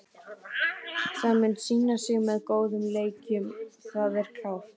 Það mun sýna sig með góðum leikjum, það er klárt.